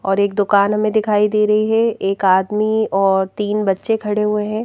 और एक दुकान हमें दिखाई दे रही है एक आदमी और तीन बच्चे खड़े हुए हैं।